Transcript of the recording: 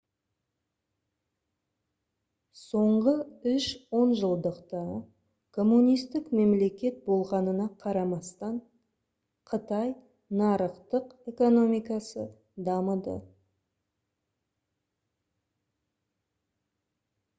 соңғы үш онжылдықта коммунистік мемлекет болғанына қарамастан қытай нарықтық экономикасы дамыды